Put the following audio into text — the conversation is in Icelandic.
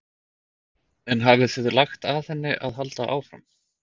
En þið hafið lagt að henni að halda áfram?